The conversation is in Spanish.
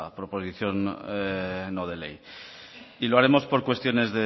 proposición no de ley y lo haremos por cuestiones